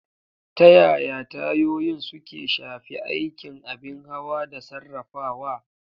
Ta yaya tayoyin suke shafi aikin abin hawa da sarrafawa?